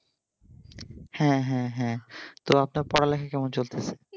হ্যাঁ হ্যাঁ হ্যাঁ তো আপনার পড়ালেখা কেমন চলতেছে?